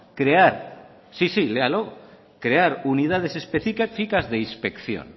crear sí sí léalo crear unidades específicas de inspección